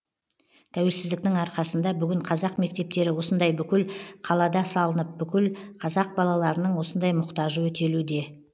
тәуелсіздіктің арқасында бүгін қазақ мектептері осындай бүкіл қалада салынып бүкіл қазақ балаларының осындай мұқтажы өтелуде